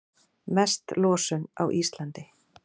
Mest losun á Íslandi